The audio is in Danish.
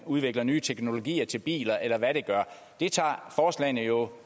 udvikles nye teknologier til biler eller hvad det er tager forslagene jo